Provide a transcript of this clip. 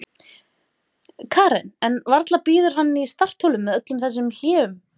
Karen: En varla bíður hann í startholunum með öllum þessum hléum?